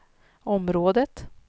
området